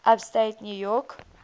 upstate new york